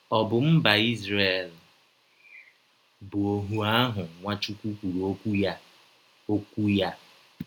Ọ̀ bụ mba Izrel bụ ọhụ ahụ Nwachụkwụ kwụrụ ọkwụ ya? ọkwụ ya?